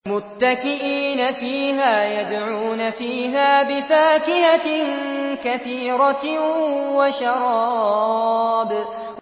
مُتَّكِئِينَ فِيهَا يَدْعُونَ فِيهَا بِفَاكِهَةٍ كَثِيرَةٍ وَشَرَابٍ